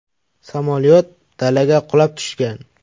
Samolyot dalaga qulab tushgan.